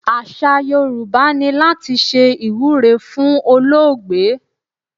Àṣà Yorùbá ni láti ṣe ìwúre fún olóògbé.